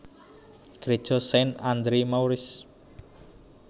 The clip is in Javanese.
Gréja Saint Andre Maurice